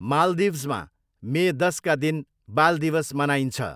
माल्दिभ्समा मे दसका दिन बाल दिवस मनाइन्छ।